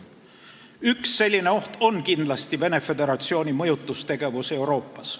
Üks selline oht on kindlasti Venemaa Föderatsiooni mõjutustegevus Euroopas.